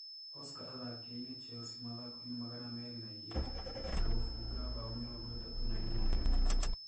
Oscar athakiire Chelsea mathako-ini magana meri na igĩrĩ na gũbunga bao mĩrongo itatũ na inyanya.